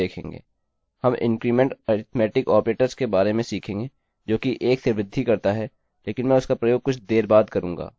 हम इन्क्रीमेंट वृद्धिअरिथ्मेटिक ऑपरेटर के बारे में सीखेंगे जो कि 1 से वृद्धि करता है लेकिन मैं उसका प्रयोग कुछ देर बाद करूँगा